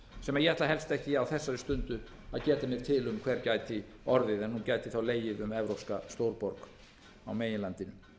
sem ég ætla helst ekki á þessari stundu að geta mér til um hver gæti orðið en hún gæti þá legið um evrópska stórborg á meginlandinu